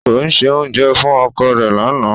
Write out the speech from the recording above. Ko se ounjẹ fun oko re lana.